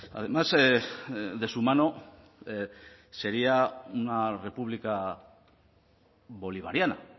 además de su mano sería una república bolivariana